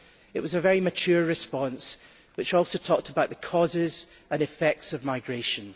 It was a very mature response, which also talked about the causes and effects of migration.